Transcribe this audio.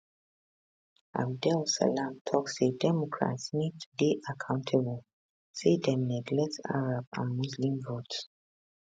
abdel salam tok say democrats need to dey accountable say dem neglect arab and muslim votes